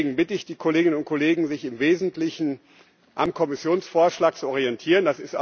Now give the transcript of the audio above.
Deswegen bitte ich die Kolleginnen und Kollegen, sich im Wesentlichen am Kommissionsvorschlag zu orientieren.